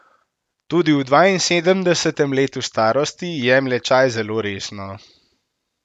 Tudi v dvainsedemdesetem letu starosti jemlje čaj zelo resno.